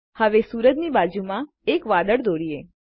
હવે સુરજની બાજુમાં એક વાદળ દોરીએ